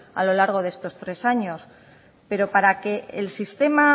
a lo largo de estos tres años pero para que el sistema